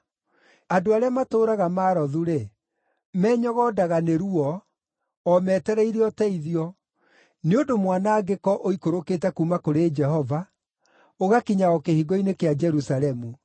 Andũ arĩa matũũraga Marothu-rĩ, menyogondaga nĩ ruo, o metereire ũteithio, nĩ ũndũ mwanangĩko ũikũrũkĩte kuuma kũrĩ Jehova, ũgakinya o kĩhingo-inĩ kĩa Jerusalemu.